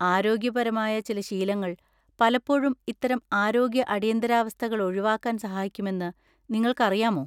ആരോഗ്യപരമായ ചില ശീലങ്ങൾ പലപ്പോഴും ഇത്തരം ആരോഗ്യ അടിയന്തരാവസ്ഥകൾ ഒഴിവാക്കാൻ സഹായിക്കുമെന്ന് നിങ്ങൾക്കറിയാമോ?